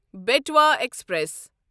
بٹوا express